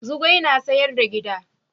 Zugwai na sayar da giɗa